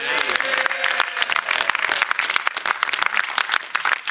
I didn't think we were discussing the UK's next general election